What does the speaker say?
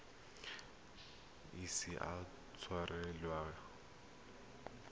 ise a tshwarelwe tshenyo epe